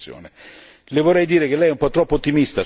Le vorrei dire che Lei è un po' troppo ottimista sul FEAMP.